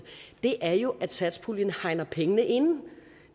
er jo at satspuljen hegner pengene ind